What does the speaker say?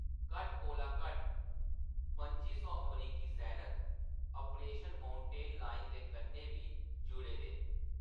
घट्ट कोला घट्ट पंजी सौ अमरीकी सैनक ऑपरेशन माउंटेन लायन दे कन्नै बी जुड़े दे न।